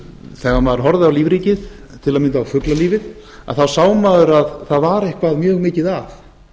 þegar maður horfði á lífríkið til að mynda á fuglalífið þá sá maður að það var eitthvað mjög mikið að